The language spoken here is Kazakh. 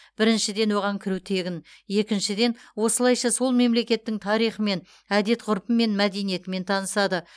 біріншіден оған кіру тегін екіншіден осылайша сол мемлекеттің тарихымен әдет ғұрпымен мәдениетімен танысады